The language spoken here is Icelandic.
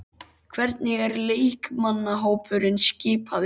Hvernig er leikmannahópurinn skipaður?